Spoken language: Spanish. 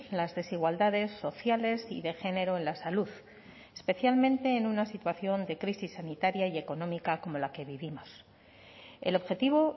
las desigualdades sociales y de género en la salud especialmente en una situación de crisis sanitaria y económica como la que vivimos el objetivo